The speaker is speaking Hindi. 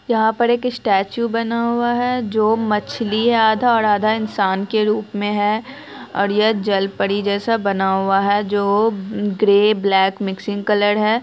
यहां पर एक स्टेच्यु बना हुआ है जो मछली है आधा और आधा इन्सान के रूप में है और यह जल परी जैसा बना हुआ है जो ग्रे ब्लैक मिक्सिंग कलर है।